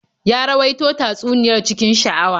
Ya rawaito tatsuniyar cikin sha'awa.